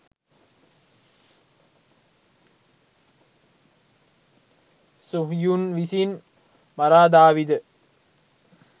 Suhyun විසින් මරා දාවිද?